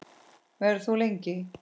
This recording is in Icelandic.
Verður þú lengi?